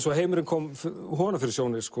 og heimurinn kom honum fyrir sjónir